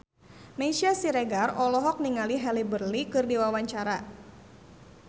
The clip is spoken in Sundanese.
Meisya Siregar olohok ningali Halle Berry keur diwawancara